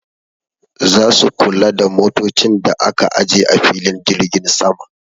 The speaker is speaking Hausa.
Za su kula da motocin da aka aje a filin jirgin sama.